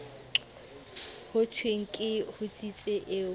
ho thweng ke hotsitsi eo